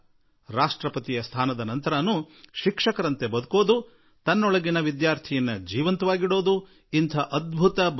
ರಾಷ್ಟ್ರಪತಿ ಹುದ್ದೆಗೆ ಏರಿದ ನಂತರವೂ ಶಿಕ್ಷಕನ ರೂಪದಲ್ಲಿ ಬದುಕುವ ಮತ್ತು ಶಿಕ್ಷಕನ ಮನಸ್ಸಿನಂತೆ ತಮ್ಮೊಳಗೆ ವಿದ್ಯಾರ್ಥಿಯನ್ನು ಜೀವಂತ ಇಟ್ಟುಕೊಂಡ ಈ ಅದ್ಭುತ ಜೀವನವನ್ನು ಡಾ